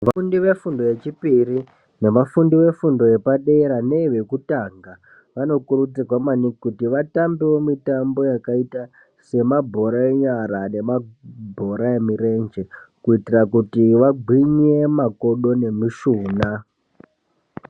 Vafundi vefundo yechipiri nevafundi vefundo yepadera neyekutanga vanokurudzirwa maningi kuti vatambeo mitambo yakaita semabhora enyara nemabhora emirenje kuitira kuti vagwinye makodo nemishuna.